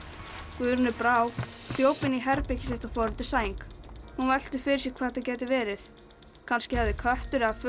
Guðrúnu brá hljóp inn í herbergið sitt og fór undir sæng hún velti fyrir sér hvað þetta gæti verið kannski hafði köttur eða fugl